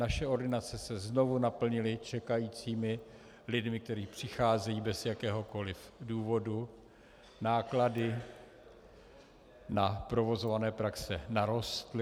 Naše ordinace se znovu naplnily čekajícími lidmi, kteří přicházejí bez jakéhokoliv důvodu, náklady na provozované praxe narostly.